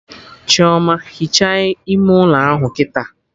Chioma, hichaa ime ụlọ ahụ kịta!